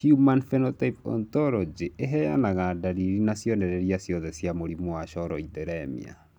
Human Phenotype Ontology ĩheanaga ndariri na cionereria ciothe cia mũrimũ wa Choroideremia